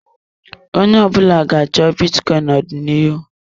Onye ọbụla ga-achọ bitcoin n'ọdịnihu.